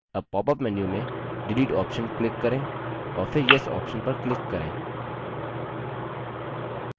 अब popअप menu में delete option click करें और फिर yes option पर click करें